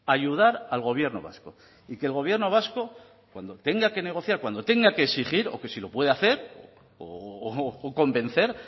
ayudar al gobierno vasco y que el gobierno vasco cuando tenga que negociar cuando tenga que exigir o que si lo puede hacer o convencer